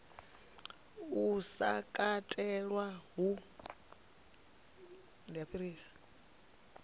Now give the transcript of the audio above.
uhu u sa katelwa hu